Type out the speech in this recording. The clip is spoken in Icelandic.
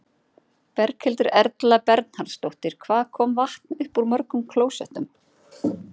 Berghildur Erla Bernharðsdóttir: Hvað kom vatn upp úr mörgum klósettum?